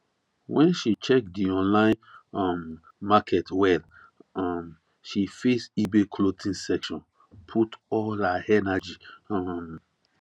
after she check the online um market well um she face ebay clothing section put all her energy um